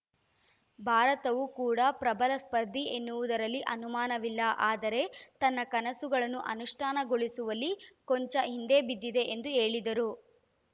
ಭಾರತವೂ ಕೂಡ ಪ್ರಬಲ ಸ್ಪರ್ಧಿ ಎನ್ನುವುದರಲ್ಲಿ ಅನುಮಾನವಿಲ್ಲ ಆದರೆ ತನ್ನ ಕನಸುಗಳನ್ನು ಅನುಷ್ಠಾನಗೊಳಿಸುವಲ್ಲಿ ಕೊಂಚ ಹಿಂದೆ ಬಿದ್ದಿದೆ ಎಂದು ಹೇಳಿದರು